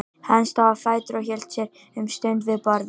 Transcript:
Hann stóð á fætur og hélt sér um stund við borðið.